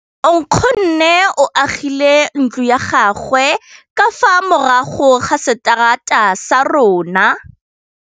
Nkgonne o agile ntlo ya gagwe ka fa morago ga seterata sa rona.